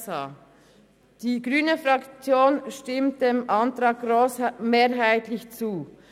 : Die Fraktion der Grünen stimmt dem Antrag grossmehrheitlich zu.